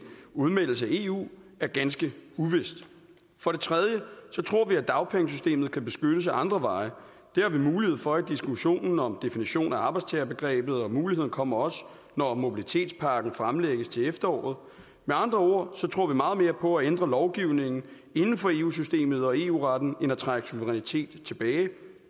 udmeldelse af eu er ganske uvist for det tredje tror vi at dagpengesystemet kan beskyttes ad andre veje det har vi mulighed for i diskussionen om definition af arbejdstagerbegrebet og muligheden kommer også når mobilitetspakken fremlægges til efteråret med andre ord tror vi meget mere på at ændre lovgivningen inden for eu systemet og eu retten end på at trække suverænitet tilbage